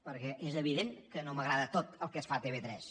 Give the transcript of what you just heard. perquè és evident que no m’agrada tot el que es fa a tv3